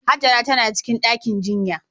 Hajara tana cikin ɗakin jinya.